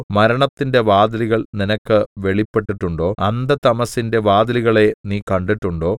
മരണത്തിന്റെ വാതിലുകൾ നിനക്ക് വെളിപ്പെട്ടിട്ടുണ്ടോ അന്ധതമസ്സിന്റെ വാതിലുകളെ നീ കണ്ടിട്ടുണ്ടോ